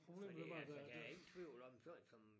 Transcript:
Fordi altså jeg er ikke i tvivl om sådan som